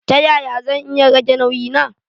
Ta yaya zan iya rage nauyi na.